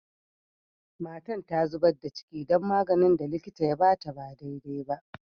Matan ta zubar da ciki dan maganin da likitan ya ba ta ba dai dai ba.